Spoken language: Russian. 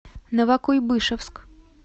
новокуйбышевск